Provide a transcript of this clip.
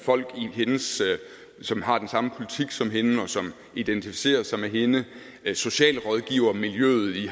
folk som har den samme politik som hende og som identificerer sig med hende socialrådgivermiljøet i